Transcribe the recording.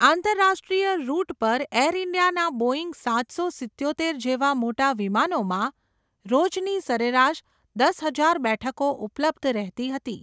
આંતરરાષ્ટ્રિય રૂટ પર air India નાં બોઇંગ સાત સો સિત્યોતેર જેવાં મોટાં વિમાનોમાં, રોજની સરેરાશ દસ હજાર બેઠકો ઉપલબ્ધ રહેતી હતી.